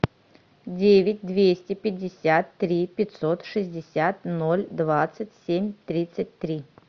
девять двести пятьдесят три пятьсот шестьдесят ноль двадцать семь тридцать три